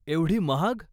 एवढी महाग.